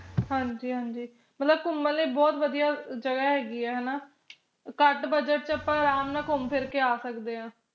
ਹਾਂਜੀ ਹਾਂਜੀ ਮਤਲਬ ਘੁੰਮਣ ਲਈ ਬਹੁਤ ਵਧਿਆ ਜਗਾ ਹੇਗੀ ਆ ਹਣਾ ਘਟ budget ਚ ਆਪਾ ਅਰਾਮ ਨਾਲ ਘੁੰਮ ਫਿਰ ਕੇ ਆ ਸਕਦੇ ਆ